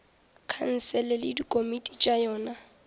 khansele le dikomiti tša yona